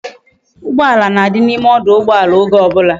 Ugbala na di na ime ọdụ̀ụgbọàlà oge obula